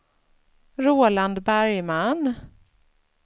Roland Bergman